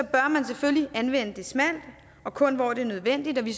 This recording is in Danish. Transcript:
bør man selvfølgelig anvende det smalt og kun hvor det er nødvendigt og vi